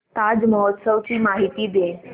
ताज महोत्सव ची माहिती दे